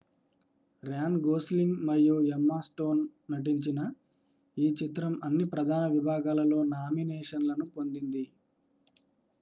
Ryan Gosling మరియు Emma Stone నటించిన ఈ చిత్రం అన్ని ప్రధాన విభాగాలలో నామినేషన్లను పొందింది